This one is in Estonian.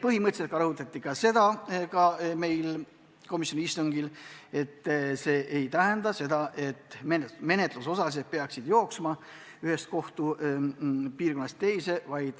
Komisjoni istungil rõhutati veel, et see ei tähenda seda, et menetlusosalised peaksid jooksma ühest kohtupiirkonnast teise.